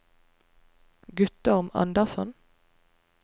Guttorm Andersson